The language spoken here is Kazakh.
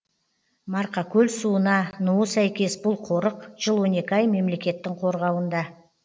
марқакөл суына нуы сәйкес бұл қорық жыл он екі ай мемлекеттің қорғауында